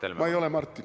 Jah, ma ei ole Martin.